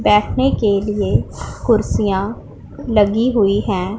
बैठने के लिए कुर्सियां लगी हुई हैं।